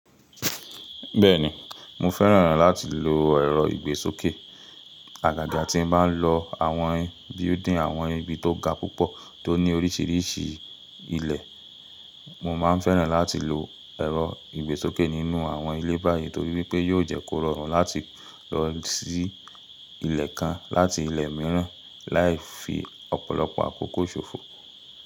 Bẹ́ẹ̀ni, mo fẹ́ràn láti lo ẹ̀rọ ìgbésókè. Aga ga tí n báa ń lọ àwọn building, àwọn ibi tó ga púpọ̀ tó ní oríṣiríṣi ilẹ̀, mo máa ń fẹ́ràn láti lo ẹ̀rọ ìgbésókè nínú àwọn ilé báyìí torí wípé yóò jẹ́ kó rọrùn láti lọ sí ilẹ̀ kan láti ilẹ̀ mìíràn láì fi ọ̀pọ̀lọpọ̀ àkókò ṣòfò.